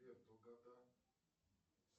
сбер долгота